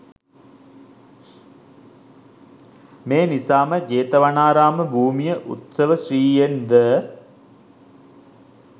මේ නිසාම ජේතවනාරාම භූමිය උත්සවශ්‍රීයෙන් ද